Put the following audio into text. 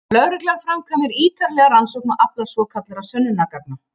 Lögreglan framkvæmir ítarlega rannsókn og aflar svokallaðra sönnunargagna.